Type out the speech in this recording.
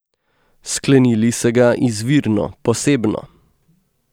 Sklenili se ga izvirno, posebno.